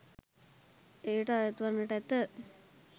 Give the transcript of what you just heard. එයට අයත්වන්නට ඇත.